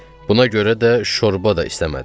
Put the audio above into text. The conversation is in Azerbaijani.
Buna görə də şorba da istəmədim.